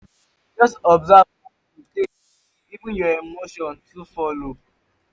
jus observe how yu take dey feel even yur emotion too follow